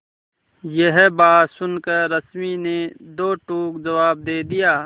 यह बात सुनकर रश्मि ने दो टूक जवाब दे दिया